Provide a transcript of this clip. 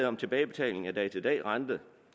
om tilbagebetaling af dag til dag renten